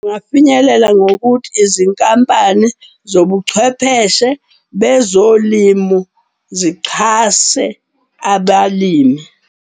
Kungafinyelela ngokuthi izinkampani zobuchwepheshe bezolimu zixhase abalimi.